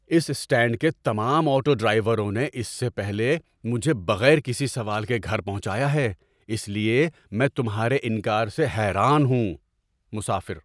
اس stand کے تمام auto ڈرائیوروں نے اس سے پہلے مجھے بغیر کسی سوال کے گھر پہنچایا ہے، اس لیے میں تمہارے انکار سے حیران ہوں! (مسافر)